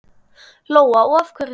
Lóa: Og af hverju þá?